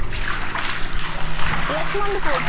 ରେଶମାଣ୍ଡି ପୁର